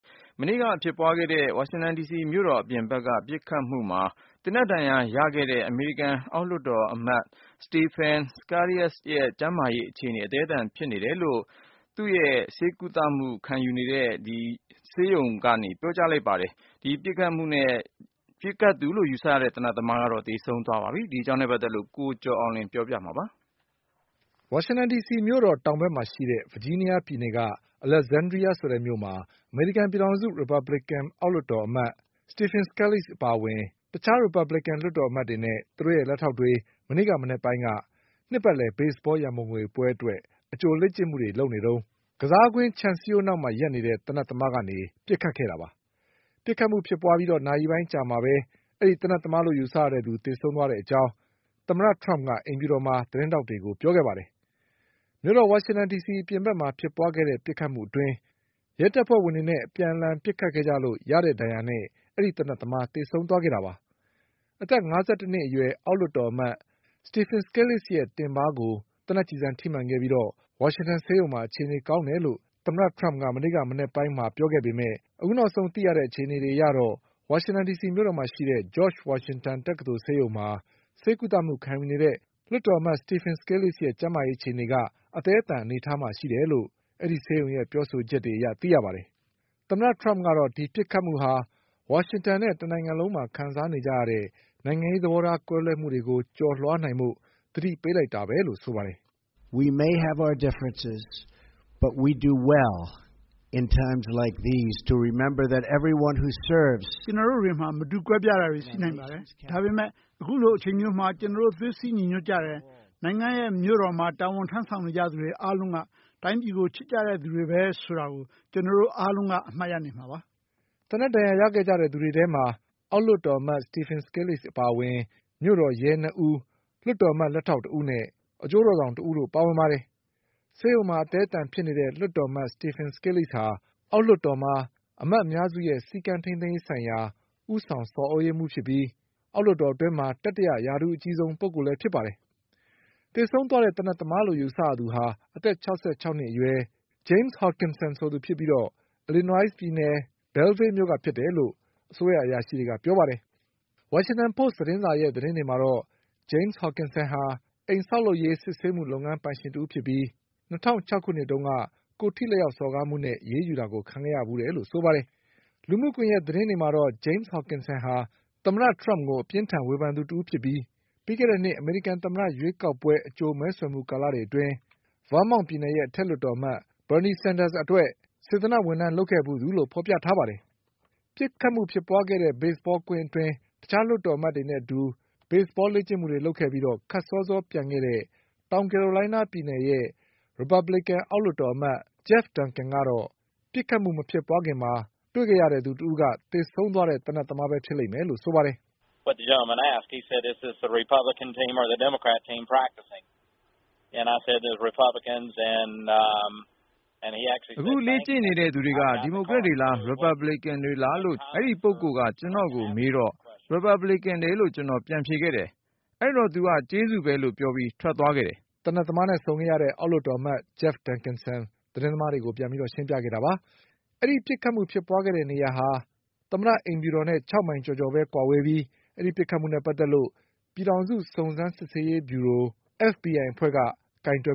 မနေ့က ဖြစ်ပွါးခဲ့တဲ့ ဝါရှင်တန်ဒီစီမြို့တော် အပြင်ဘက်က ပစ်ခတ်မှုမှာ သေနတ်ဒဏ်ရာ ရခဲ့သူ အမေရိကန် အောက်လွှတ် တော်အမတ် Stephen Scalise ရဲ့ ကျန်းမာရေးအခြေအနေက အသည်းအသန် ဖြစ်နေတယ်လို့ Mr. Scalise ဆေးကုသ မှုခံယူနေတဲ့ ဂျော့ချ်ဝါရှင်တန် တက္ကသိုလ်ဆေးရုံရဲ့ ပြောဆိုချက်အရ သိရပါတယ်။ ပစ်ခတ်ခဲ့သူလို့ ယူဆရတဲ့ သေနတ်သမား ကတော့ သေဆုံးသွားပါပြီ။ ဒီအကြောင်း ကိုကျော်အောင်လွင်က ပြောပြပါလိမ့်မယ်။ ဝါရှင်တန်မြို့တော် တောင်ဘက်မှာရှိတဲ့ ဗာဂျီးနီးယားပြည်နယ် အလက်ဇန္ဒြီးယားမြို့မှာ အမေရိကန်ပြည်ထောင်စု ရီပါဘလစ်ကန် အောက်လွှတ်တော်အမတ် Stephen Scalise အပါအဝင် တခြားရီပါဘလစ်ကန် လွှတ်တော်အမတ် တွေနဲ့ သူတို့ရဲ့ လက်ထောက်တွေ မနေ့ မနက်ပိုင်းက နှစ်ပတ်လည် ဘေ့စ်ဘော ရံပုံငွေပွဲအတွက် အကြို လေ့ကျင့်မှုတွေ လုပ်နေတုန်း ကစားကွင်းခြံ စည်းရိုးနောက်မှာ ရပ်နေတဲ့ သေနတ်သမားက ပစ်ခတ်ခဲ့တာပါ။ ပစ်ခတ်မှု ဖြစ်ပွါးပြီး နာရီပိုင်း အကြာမှာပဲ သေနတ်သမား သေဆုံးသွားတဲ့ အကြောင်း သမ္မတထရမ့်က အိမ်ဖြူတော်မှာ သတင်းထောက်တွေကို ပြောခဲ့ပါတယ်။ မြို့တော် ဝါရှင်တန်ဒီစီ အပြင်ဘက်မှာ ဖြစ်ပွါး ခဲ့တဲ့ ပစ်ခတ်မှုအတွင်း ရဲတပ်ဖွဲ့ဝင်တွေနဲ့ အပြန်အလှန်ပစ်ခတ်လို့ ရခဲ့တဲ့ ဒဏ်ရာနဲ့ အဲဒီ သေနတ်သမား သေဆုံးခဲ့တာပါ။ အသက် ၅၁ နှစ်အရွယ် အောက်လွှတ်တော်အမတ် Stephen Scaliseရဲ့ တင်ပါဆုံကို သေနတ်ကျည်ဆံ ထိမှန်ခဲ့ပြီး ဝါရှင်တန်ဆေးရုံမှာ အခြေအနေ ကောင်းတယ်လို့ သမ္မတထရမ့်က မနေ့မနက်ပိုင်းက ပြောခဲ့ပေမယ့် အခုနောက်ဆုံး အခြေအနေအရ ဝါရှင်တန်ဒီစီမြို့တော်မှာ ရှိတဲ့ ဂျော့ချ်ဝါရှင်တန် တက္ကသိုလ်ဆေးရုံမှာ ဆေးကုသမှု ခံယူနေတဲ့ လွှတ်တော်အမတ် Stephen Scalise ရဲ့ ကျန်းမာရေး အခြေအနေက အသည်းအသန် အနေအထားမှာ ရှိတယ်လို့ဆေးရုံရဲ့ပြောဆိုချက်အရ သိရပါတယ်။ ဒီပစ်ခတ်မှုဟာ ဝါရှင်တန်နဲ့ တနိုင်ငံလုံးမှာ ခံစားနေကြရတဲ့ နိုင်ငံရေး သဘောထား ကွဲလွဲမှုတွေကို ကျော်လွှားနိုင်ဖို့ သတိပေး လိုက်တာပဲလို့လည်း သမ္မတထရမ့်က ပြောပါတယ်။ “ ကျွန်တော်တို့တွေမှာ မတူကွဲပြားတာတွေ ရှိနိုင်ပါတယ်။ ဒါပေမဲ့ အခုလို အချိန်မျိုးမှာ ကျနော်တို့ သွေးစည်းညီညွတ်ကြတယ်။ နိုင်ငံရဲ့မြို့တော်မှာ တာဝန်ထမ်းဆောင်နေကြသူတွေ အားလုံးက တိုင်းပြည်ကို ချစ်ကြတဲ့သူတွေပဲ ဆိုတာကို ကျနော်တို့ အားလုံးက အမှတ်ရနေမှာပါ။ ” သေနတ်ဒဏ်ရာ ရခဲ့သူတွေထဲမှာ အောက်လွှတ်တော်အမတ် Stephen Scalise အပါအဝင် မြို့တော်ရဲ နှစ်ဦး၊ လွှတ်တော် အမတ် လက်ထောက်တဦးနဲ့အကျိုးတော်ဆောင် တဦးတို့လည်း ပါဝင်ပါတယ်။ ဆေးရုံမှာ အသည်းအသန်ဖြစ်နေတဲ့ လွှတ်တော်အမတ် Stephen Scalise ဟာ အောက်လွှတ်တော်မှာ အမတ်အများစုရဲ့စည်းကမ်းထိမ်းသိမ်းရေး ဆိုင်ရာ ဦးဆောင် ဆော်သြရေးမှူး ဖြစ်ပြီး အောက်လွှတ်တော် အတွင်း တတိယ ရာထူးအကြီးဆုံး ပုဂ္ဂိုလ်လည်း ဖြစ်ပါတယ်။ သေဆုံးသွားတဲ့ သေနတ်သမားလို့ ယူဆရသူဟာ အသက် ၆၆ နှစ်အရွယ် James Hodgkinson ဆိုတဲ့သူ ဖြစ်ပြီး Illinois ပြည်နယ် Belleville မြို့က ဖြစ်တယ်လို့အစိုးရအရာရှိတွေက ပြောပါတယ်။ ဝါရှင်တန်ပို့စ် သတင်းစာရဲ့သတင်းတွေမှာတော့ James Hodgkinson ဟာ အိမ်ဆောက်လုပ်ရေး စစ်ဆေးမှုလုပ်ငန်း ပိုင်ရှင်တဦးဖြစ်ပြီး ၂၀၀၆ ခုနှစ်တုန်းက ကိုယ်ထိ လက်ရောက် စော်ကားမှုနဲ့ အရေးယူတာ ခံခဲ့ရဖူးတယ်လို့ ဆိုပါတယ်။ လူမှုကွန်ယက် သတင်းတွေမှာတော့ James Hodgkinson ဟာ သမ္မတထရမ့်ကို အပြင်းအထန် ဝေဖန်သူတဦး ဖြစ်ပြီး ပြီးခဲ့တဲ့နှစ် အမေရိကန် သမ္မတရွေးကောက်ပွဲ အကြို မဲဆွယ်မှု ကာလတွေအတွင်း ဗားမောင့်ပြည်နယ်ရဲ့အထက်လွှတ်တော်အမတ် Bernie Sanders အတွက် စေတနာ့ဝင်ထမ်း လုပ်ခဲ့ဖူးသူလို့ ဆိုပါတယ်။ ပစ်ခတ်မှု ဖြစ်ခဲ့တဲ့ ဘေ့စ်ဘောကွင်းအတွင်း တခြား လွှတ်တော်အမတ်တွေနဲ့ အတူ ဘေ့စ်ဘောလေ့ကျင့်မှုတွေ လုပ်ခဲ့ပြီး ခပ်စောစောပြန်ခဲ့တဲ့ တောင်ကယ်ရိုလိုင်းနား ပြည်နယ်ရဲ့ရီပါဘလစ်ကန် အောက်လွှတ်တော်အမတ် Jeff Duncan က ပစ်ခတ်မှု မဖြစ်ခင်မှာ တွေ့ခဲ့ရတဲ့သူက သေဆုံးသွားတဲ့ သေနတ်သမားပဲ ဖြစ်လိမ့်မယ်လို့ ဆိုပါတယ်။ “ အခ ုလေ့ကျင့်နေတဲ့သူတွေက ဒီမိုကရက်တွေလား၊ ရီပါဘလစ်ကန်တွေလားလို့အဲဒီပုဂ္ဂိုလ်က ကျနော့်ကို မေးတော့ ရီပါဘလစ်ကန်တွေလို့ကျနော်က ပြန်ဖြေခဲ့တယ်။ အဲဒီတော့ သူက ကျေးဇူးပဲလို့ ပြောပြီး ထွက်သွားခဲ့တယ်။ ” အောက်လွှတ်တော် အမတ် Jeff Duncan က သတင်းသမားတွေကို ပြန်ရှင်းပြခဲ့တာပါ။ အခုဖြစ်ပွါးခဲ့တဲ့ နေရာဟာ သမ္မတ အိမ်ဖြူတော်နဲ့ ၆ မိုင်ကျော်ကျော် ကွာဝေးပြီး ဒီပစ်ခတ်မှုနဲ့ ပတ်သက်လို့ပြည်ထောင်စု စုံစမ်းစစ်ဆေးရေးဗျူရို FBI အဖွဲ့က ကိုင်တွယ်